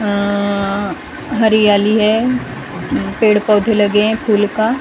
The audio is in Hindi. अ हरियाली है पेड़ पौधे लगे है फूल का--